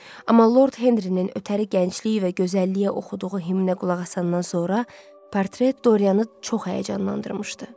Amma Lord Henrinin ötəri gəncliyi və gözəlliyə oxuduğu himnə qulaq asandan sonra portret Dorianı çox həyəcanlandırmışdı.